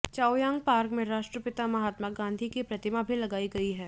Chaoyang park में राष्ट्रपिता महात्मा गांधी की प्रतिमा भी लगाई गई है